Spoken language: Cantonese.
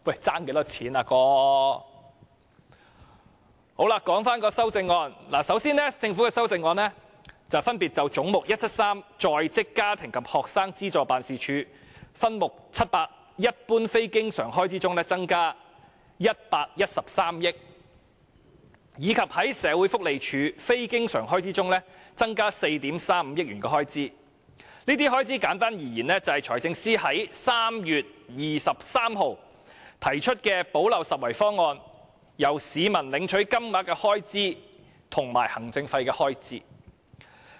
說回修正案。首先，政府的修正案分別在"總目 173― 在職家庭及學生資助辦事處"項下分目700增加113億元，以及在社會福利署的非經常開支中增加4億 3,500 萬元。簡單而言，這些開支便是財政司司長在3月23日提出的"補漏拾遺"方案中，由市民領取的金額及行政費的開支。